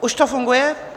Už to funguje?